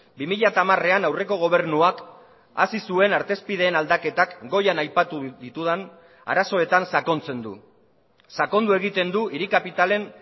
bi mila hamarean aurreko gobernuak hasi zuen artezpideen aldaketak goian aipatu ditudan arazoetan sakontzen du sakondu egiten du hiri kapitalen